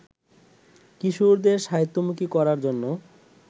কিশোরদের সাহিত্যমুখী করার জন্য